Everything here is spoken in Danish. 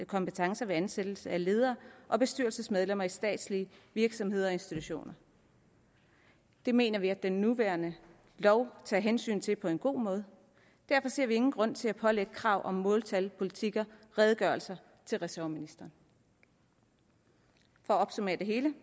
kompetencer ved ansættelse af ledere og bestyrelsesmedlemmer i statslige virksomheder og institutioner det mener vi at den nuværende lov tager hensyn til på en god måde derfor ser vi ingen grund til at pålægge krav om måltal politikker og redegørelser til ressortministeren for at opsummere det hele